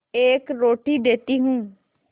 एक रोटी देती हूँ